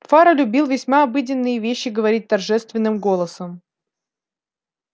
фара любил весьма обыденные вещи говорить торжественным голосом